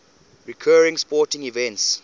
recurring sporting events